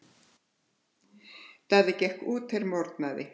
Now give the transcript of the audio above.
Daði gekk út er morgnaði.